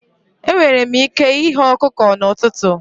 Enwere m ike ighe ọkụkọ n'ụtụtụ.